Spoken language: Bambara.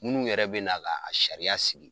Munnu yɛrɛ bɛn'a la a sariya sigi